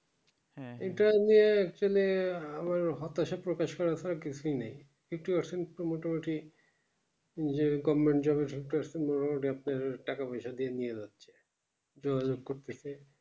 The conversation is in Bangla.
interview এ actually আহ হতাশা প্রকাশ করা ছাড়া কিছুই নাই fifty percent মোটামুটি যেরকম টাকা পয়সা দিয়ে নিয়ে এলো যোগাযোগ করতেছে